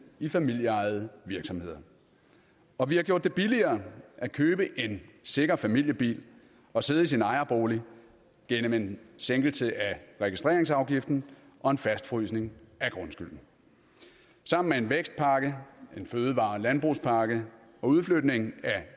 i familieejede virksomheder og vi har gjort det billigere at købe en sikker familiebil og sidde i sin ejerbolig gennem en sænkelse af registreringsafgiften og en fastfrysning af grundskylden sammen med en vækstpakke en fødevare og landbrugspakke og udflytning af